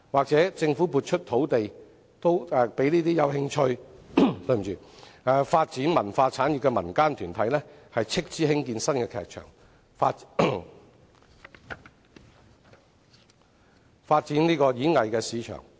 政府亦可撥出土地給有興趣發展文化產業的民間團體斥資興建新劇場，以發展演藝市場。